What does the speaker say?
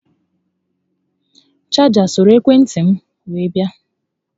Chaja soro ekwe ntị m were bịa